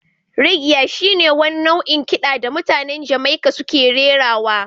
Reggae shi ne wani nau'in kiɗa da mutanen Jamaica suke rerawa